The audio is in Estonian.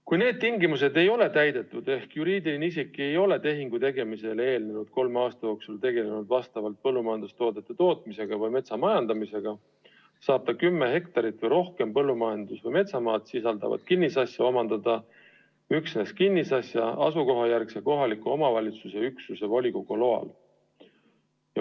Kui need tingimused ei ole täidetud ehk juriidiline isik ei ole tehingu tegemisele eelnenud kolme aasta jooksul tegelenud kas põllumajandustoodete tootmise või metsa majandamisega, saab ta kinnisasja, mis sisaldab kümme hektarit või rohkem põllumajandus- või metsamaad, omandada üksnes kinnisasja asukohajärgse kohaliku omavalitsuse üksuse volikogu loal.